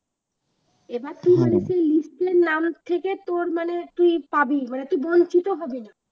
এবার list এ নাম থাকে তোর মানে তুই পাবি মানে তুই বঞ্চিত হবি না